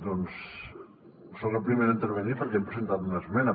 doncs soc el primer a intervenir perquè hem presentat una esmena